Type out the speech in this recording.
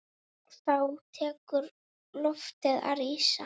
Þá tekur loftið að rísa.